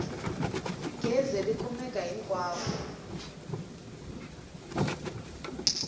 gezi ri kumeka hinkwako